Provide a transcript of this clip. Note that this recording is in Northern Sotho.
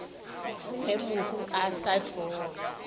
ge mohu a sa tlogele